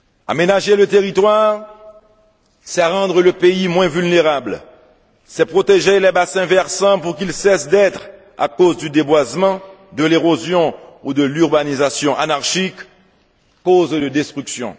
Aménager le territoire, c'est rendre le pays moins vulnérable, c'est protéger les bassins versants pour qu'ils cessent d'être, à cause du déboisement, de l'érosion ou de l'urbanisation anarchique, cause de destruction.